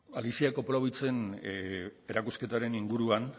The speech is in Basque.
alicia koplowitzen erakusketaren inguruan